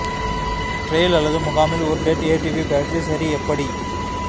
trail அல்லது முகாமில் ஒரு டெட் ஏடிவி பேட்டரி சரி எப்படி